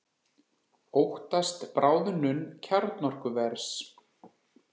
Óttast bráðnun kjarnorkuvers